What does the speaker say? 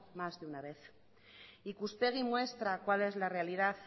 más de una vez ikuspegi muestra cuál es la realidad